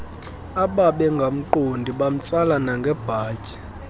ababengamqondi bamtsala nangebhatyi